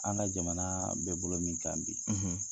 An ka jamanaa be bolo min kan bi